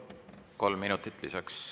Kolm minutit lisaks.